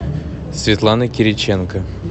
светлана кириченко